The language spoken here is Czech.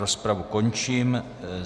Rozpravu končím.